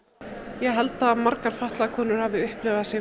ég held að margar konur hafi upplifað sig